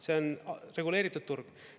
See on reguleeritud turg.